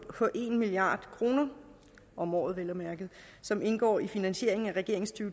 en milliard kroner om året vel at mærke som indgår i finansieringen af regeringens to